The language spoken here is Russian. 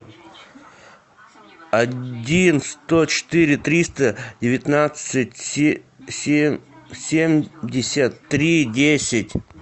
один сто четыре триста девятнадцать семьдесят три десять